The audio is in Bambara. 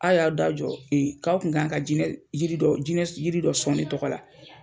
A y'aw da jɔ e k'aw kun kan ka jinɛ yiri dɔ jinɛ yiri dɔ sɔn ne tɔgɔ la